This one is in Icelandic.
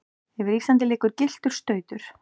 yfir Íslandi liggur gylltur stautur.